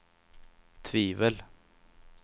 tvivel